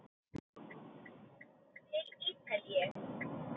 Til Ítalíu!